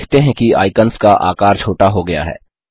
हम देखते हैं कि आइकन्स का आकार छोटा हो गया है